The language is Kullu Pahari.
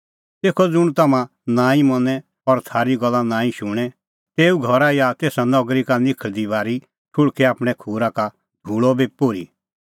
तेखअ ज़ुंण तम्हां नांईं मनें और थारी गल्ला नांईं शुणें तेऊ घरा या तेसा नगरी का निखल़दी बारी ठुल़्हकै आपणैं खूरा का धूल़अ बी पोर्ही